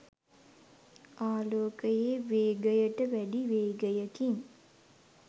ආලෝකයේ වේගයට වැඩි වේගයකින්